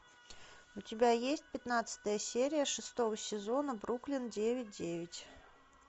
у тебя есть пятнадцатая серия шестого сезона бруклин девять девять